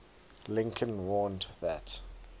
lincoln warned that